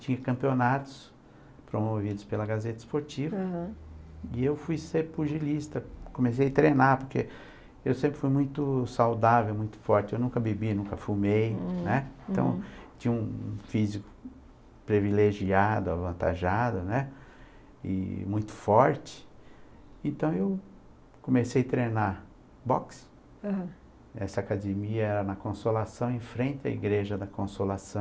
tinha campeonatos promovidos pela Gazeta Esportiva, né, e eu fui ser pugilista, comecei a treinar, porque eu sempre fui muito saudável, muito forte, eu nunca bebi, nunca fumei, né, então tinha um físico privilegiado, avantajado, né, e muito forte, então eu comecei a treinar boxe, ãh, essa academia é na Consolação, em frente à Igreja da Consolação,